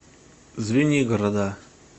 звенигорода